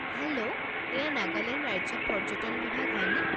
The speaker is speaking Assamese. হেল্ল'! এইয়া নাগালেণ্ড ৰাজ্যিক পৰ্যটন বিভাগ হয়নে?